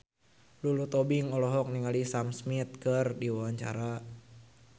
Lulu Tobing olohok ningali Sam Smith keur diwawancara